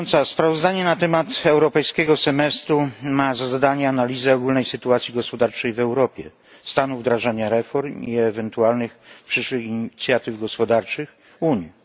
Sprawozdanie na temat europejskiego semestru ma za zadanie analizę ogólnej sytuacji gospodarczej w Europie, stanu wdrażania reform i ewentualnych przyszłych inicjatyw gospodarczych Unii.